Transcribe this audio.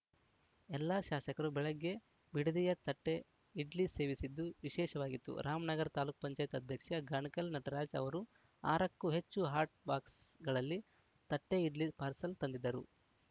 ಎಲ್ಲಾ ಶಾಸಕರು ಬೆಳಗ್ಗೆ ಬಿಡದಿಯ ತಟ್ಟೆಇಡ್ಲಿ ಸೇವಿಸಿದ್ದು ವಿಶೇಷವಾಗಿತ್ತು ರಾಮನಗರ ತಾಲೂಕ್ ಪಂಚಾಯತ್ ಅಧ್ಯಕ್ಷ ಗಾಣಕಲ್‌ ನಟರಾಜ್‌ ಅವರು ಆರಕ್ಕೂ ಹೆಚ್ಚು ಹಾಟ್‌ ಬಾಕ್ಸ್‌ಗಳಲ್ಲಿ ತಟ್ಟೆಇಡ್ಲಿ ಪಾರ್ಸಲ್‌ ತಂದಿದ್ದರು